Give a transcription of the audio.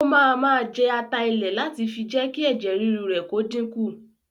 O máa máa jẹ ata ilẹ̀ láti fi jé kí ẹ̀jẹ̀ ríru rẹ kó dínkù